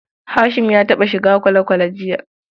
Hashim ya taɓa shiga kwale-kwale jiya.